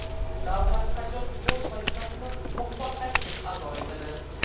Davlat qachon o‘z vazifasini muvaffaqiyatli ado etadi?